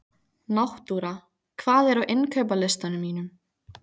Náttúra, hvað er á innkaupalistanum mínum?